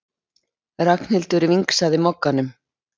Ragnhildur vingsaði Mogganum.